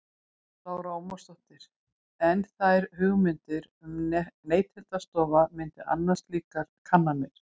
Lára Ómarsdóttir: En þær hugmyndir að Neytendastofa myndi annast slíkar kannanir?